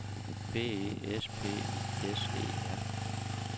B E S P I S E R